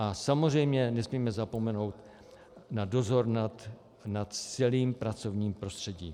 A samozřejmě nesmíme zapomenout na dozor nad celým pracovním prostředím.